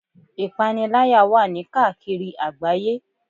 Ìpaniláyà wà ní káàkiri àgbáyé.